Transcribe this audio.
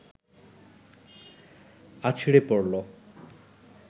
আছড়ে পড়ল